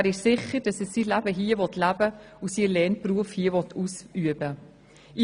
Er ist sicher, dass er sein Leben hier verbringen und seinen Lehrberuf ausüben will.